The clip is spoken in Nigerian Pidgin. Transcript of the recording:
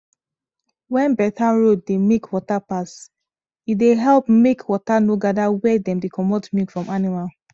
when better road dey make water pass e dey help make water no gada where dem dey comot milk from animal